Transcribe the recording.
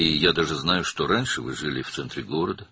Hətta bilirəm ki, əvvəllər şəhərin mərkəzində yaşayırdınız